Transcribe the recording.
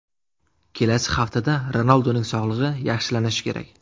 Kelasi haftada Ronalduning sog‘lig‘i yaxshilanishi kerak.